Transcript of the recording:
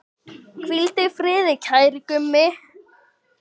Hvíldu í friði, kæri Gummi.